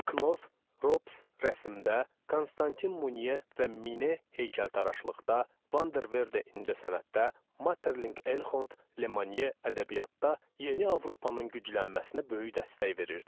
Knov, Rops rəssamda, Konstantin Muniyə və Mine heykəltaraşlıqda, Vanderved incəsənətdə, Materlink Elhond, Lemanye ədəbiyyatda, Yeni Avropanın güclənməsinə böyük dəstək verirdi.